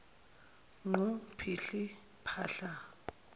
qhu phihli phahla